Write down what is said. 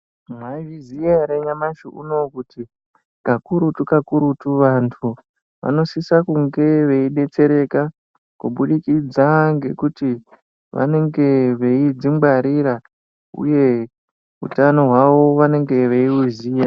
Mwaizviziya ere nyamashi unowu, kuti kakurutu-kakurutu, vantu vanosise kunge veidetsereka kubudikidza ngekuti vanenge veidzingwarira, uye hutano hwavo vanenge veiuziya.